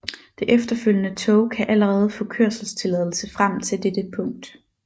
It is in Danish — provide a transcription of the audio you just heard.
Det efterfølgende tog kan allerede få kørselstilladelse frem til dette punkt